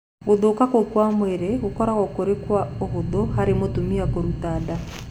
Gũthuthũka kũu kwa mĩĩrĩ gũkoragwo kũrĩ kwa ũhũthũ harĩ mũtumia kũruta nda.